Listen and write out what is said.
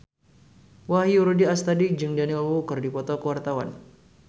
Wahyu Rudi Astadi jeung Daniel Wu keur dipoto ku wartawan